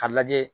K'a lajɛ